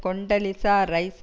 Condoleezza rice